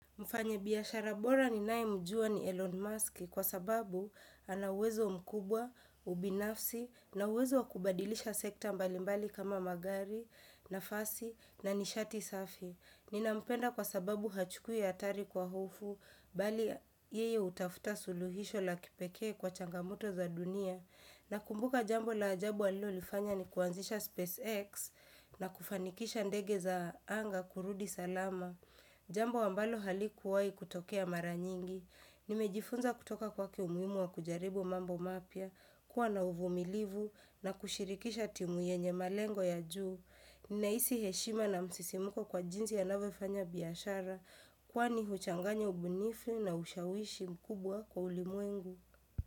Mfanya biashara bora ni naye mjua ni Elon Musk kwa sababu ana uwezo mkubwa, ubinafsi, na uwezo wakubadilisha sekta mbalimbali kama magari, nafasi, na nishati safi. Nina mpenda kwa sababu hachukui hatari kwa hofu, bali yeye hutafuta suluhisho la kipekee kwa changamoto za dunia. Na kumbuka jambo la ajabu alilolifanya ni kuanzisha SpaceX na kufanikisha ndege za anga kurudi salama. Jambo ambalo halikuwai kutokea maranyingi, nimejifunza kutoka kwa umuhimu wa kujaribu mambo mapya, kuwa na uvumilivu na kushirikisha timu yenye malengo ya juu, ninahisi heshima na msisimuko kwa jinsi anavyofanya biashara, kwani huchanganya ubunifu na ushawishi mkubwa kwa ulimwengu.